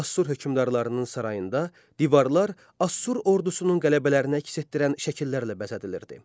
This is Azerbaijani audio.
Assur hökmdarlarının sarayında divarlar Assur ordusunun qələbələrini əks etdirən şəkillərlə bəzədilirdi.